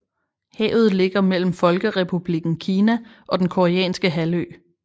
Havet ligger mellem Folkerepublikken Kina og den Koreanske halvø